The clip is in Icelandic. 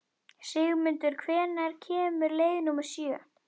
Sigmundur, hvenær kemur leið númer sjö?